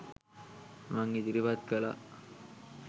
මං ඉදිරිපත් කළා.